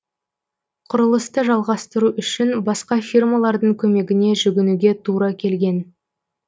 құрылысты жалғастыру үшін басқа фирмалардың көмегіне жүгінуге тура келген